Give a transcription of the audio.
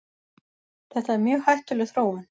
Þetta er mjög hættuleg þróun.